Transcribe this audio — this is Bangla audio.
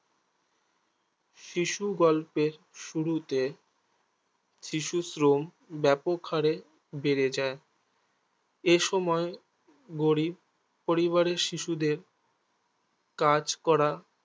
শিশুগল্পের শুরুতে শিশুশ্রম ব্যাপক হাড়ে বেড়ে যায় এসময় গরিব পরিবারের শিশুদের কাজ করা